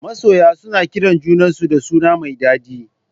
Masoya suna kiran junan su da suna mai dadi